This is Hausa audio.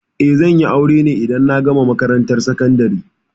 Eh, zan yi aure ne idan na gama makarantar sakandari.